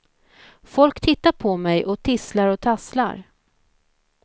Folk tittar på mig och tisslar och tasslar.